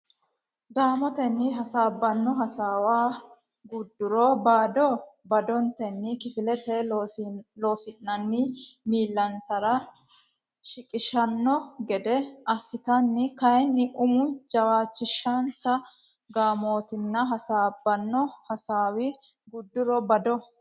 gaamotenni hasaabbanno hasaawa gudduro bado badotenni kifilete Loossinanni miillansara shiqishshanno gede assatenni kayinni umi jawaachishinsa gaamotenni hasaabbanno hasaawa gudduro bado.